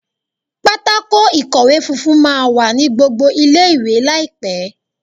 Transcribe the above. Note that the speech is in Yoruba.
Pátákó ìkọ̀wé funfun máa wà ní gbogbo ilé ìwé láìpẹ́.